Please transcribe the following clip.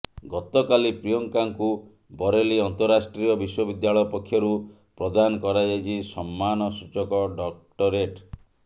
ଗତକାଲି ପ୍ରିୟଙ୍କାଙ୍କୁ ବରେଲି ଅନ୍ତଃରାଷ୍ଟ୍ରୀୟ ବିଶ୍ୱବିଦ୍ୟାଳୟ ପକ୍ଷରୁ ପ୍ରଦାନ କରାଯାଇଛି ସମ୍ମାନସୂଚକ ଡକ୍ଟରେଟ